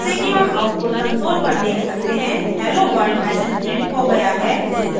जैसे कि हम output console पर देख सकते हैं helloworld message printed हो गया है